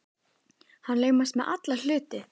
Hann laumast með alla hluti.